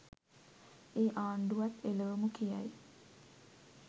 ඒ ආණ්ඩුවත් එලවමු කියයි.